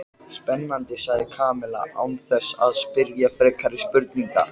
Spennandi sagði Kamilla án þess að spyrja frekari spurninga.